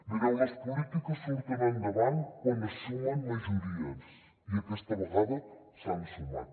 mireu les polítiques surten endavant quan es sumen majories i aquesta vegada s’han sumat